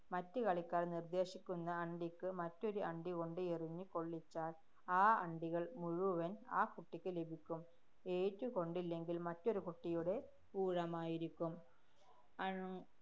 മറ്റ് കളിക്കാര്‍ നിര്‍ദേശിക്കുന്ന അണ്ടിക്ക് മറ്റൊരു അണ്ടികൊണ്ട് എറിഞ്ഞ് കൊള്ളിച്ചാല്‍ ആ അണ്ടികള്‍ മുഴുവന്‍ ആ കുട്ടിക്കു ലഭിക്കും. ഏറ്റുക്കൊണ്ടില്ലെങ്കില്‍ മറ്റൊരു കുട്ടിയുടെ ഊഴമായിരിക്കും. അണ്‍~